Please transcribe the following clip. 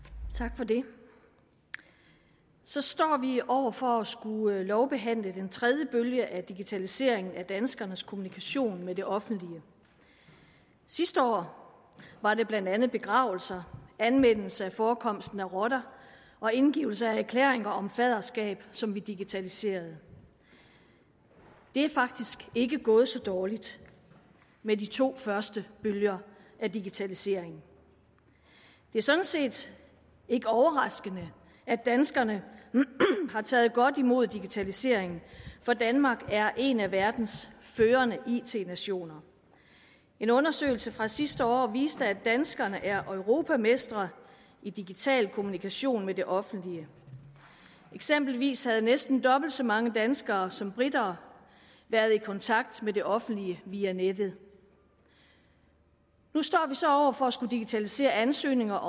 tak for det så står vi over for at skulle lovbehandle den tredje bølge af digitaliseringen af danskernes kommunikation med det offentlige sidste år var det blandt andet begravelser anmeldelse af forekomst af rotter og indgivelse af erklæringer om faderskab som vi digitaliserede det er faktisk ikke gået så dårligt med de to første bølger af digitaliseringen det er sådan set ikke overraskende at danskerne har taget godt imod digitaliseringen for danmark er en af verdens førende it nationer en undersøgelse fra sidste år viste at danskerne er europamester i digital kommunikation med det offentlige eksempelvis havde næsten dobbelt så mange danskere som briter været i kontakt med det offentlige via nettet nu står vi så over for at skulle digitalisere ansøgninger